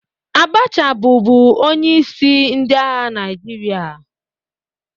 Abacha bụbu onyeisi ndị agha Naijiria